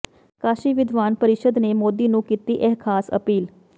ਕਾਸ਼ੀ ਵਿਦਵਾਨ ਪਰਿਸ਼ਦ ਨੇ ਮੋਦੀ ਨੂੰ ਕੀਤੀ ਇਹ ਖਾਸ ਅਪੀਲ